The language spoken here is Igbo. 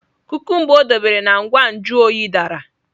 Kukumba o debere na ngwa nju oyi dara.